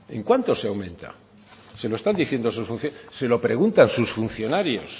en cuánto se aumenta se lo están diciendo se lo preguntan sus funcionarios